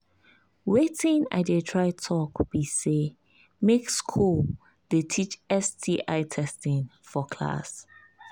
watin i they try talk be say make school they teach sti testing for class